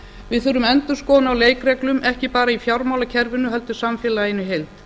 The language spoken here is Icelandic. við þurfum endurskoðun á leikreglum ekki bara í fjármálakerfinu heldur í samfélaginu í heild